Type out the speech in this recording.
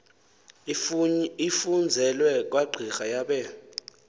ifunzele kwagqira yabe